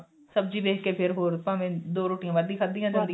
ਸਬਜੀ ਵੇਖ ਕੇ ਫੇਰ ਹੋਰ ਭਾਵੇਂ ਦੋ ਰੋਟੀਆਂ ਵੱਧ ਹੀ ਖਾਦੀਆਂ ਜਾਣ